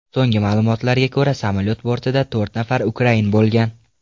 So‘nggi ma’lumotlarga ko‘ra, samolyot bortida to‘rt nafar ukrain bo‘lgan .